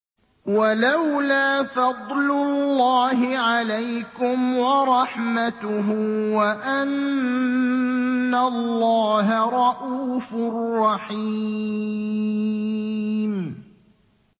وَلَوْلَا فَضْلُ اللَّهِ عَلَيْكُمْ وَرَحْمَتُهُ وَأَنَّ اللَّهَ رَءُوفٌ رَّحِيمٌ